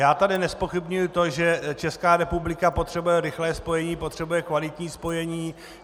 Já tady nezpochybňuji to, že Česká republika potřebuje rychlé spojení, potřebuje kvalitní spojení.